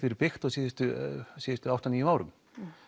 verið byggt á síðustu síðustu átta til níu árum